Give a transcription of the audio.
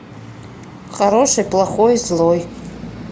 хороший плохой злой